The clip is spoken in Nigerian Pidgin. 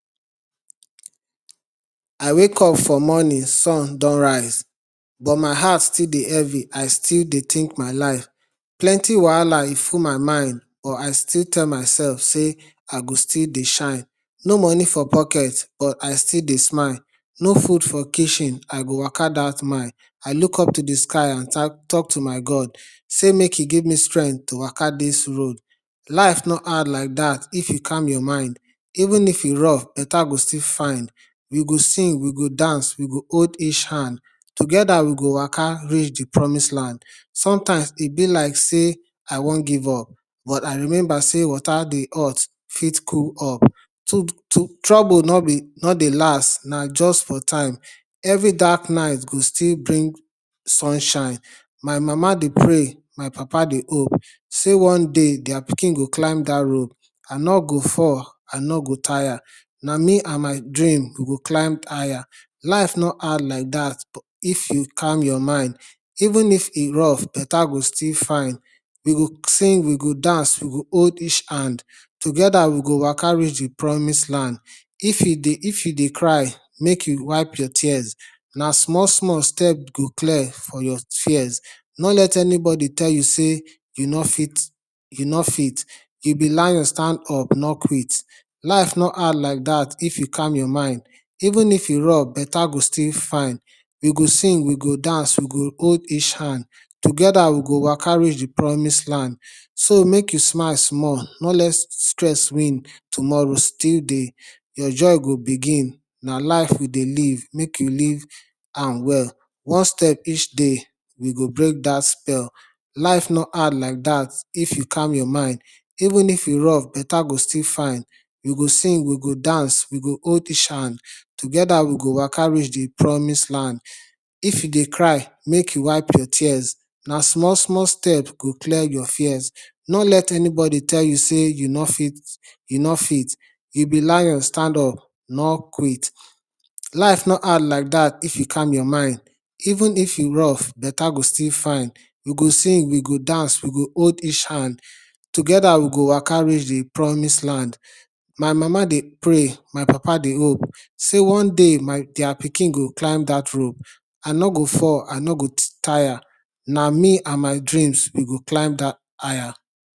I wake up for morning, sun don rise but my heart still dey heavy, i still dey think my life. Plenty wahala e full my mind but i still tell myself sey i go still dey shine, no money for pocket but i still dey smile, no food for kitchen i go waka that mile i look up to dey sky and talk to my God sey make im give me strength to waka dis road. Life no hard like that if you calm your mind even if e rough go still fine. We go sing, we go dance, we go hold each hand. Together we go waka reach dey promise land, sometimes e be like sey i wan give up but i remember sey water dey hot fit cool up, trouble no dey last na just for time, every dark night go still bring sunshine. My mama dey pray, my papa dey hope sey one day dia pikin go climb that rope, i no go fall, i no go tire na me and my dream we go climb higher. Life no hard like that if you calm your mind even if e rough better go still fine. we go sing, we go dance, we go hold each hand. together we go waka reach dey promise land. If you dey cry make you wipe your tears na small small step go clear for your fears, no let anybody tell you sey you no fit, you no fit you be lion stand up no quit. Life no hard like that if you calm your mind even if e rough better go still fine we go sing, we go dance, we go hold each hand, together we go waka reach dey promise land so make you smile small no let stress win tomorrow still dey your joy go begin na life we dey live make you live am well. one step each day we go break dat spell. Life no hard like dat if you calm your mind even if e rough better go still fine we go sing, we go dance, we go hold each hand together we go waka reach dey promise land. If you dey cry make you wipe your tears na small small step go clear for your fears, no let anybody tell you sey you no fit, you no fit you be lion stand up no quit. Life no hard like dat if you calm your mind even if e rough better go still fine we go sing, we go dance, we go hold each hand together we go waka reach dey promise land. My mama dey pray, my papa dey hope sey one day dia pikin go climb that rope, i no go fall, i no go tire na me and my dreams we climb higher.